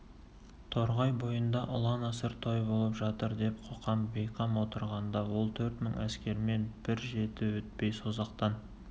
торғай бойында ұлан-асыр той болып жатыр деп қоқан бейқам отырғанда ол төрт мың әскермен бір жеті өтпей созақтан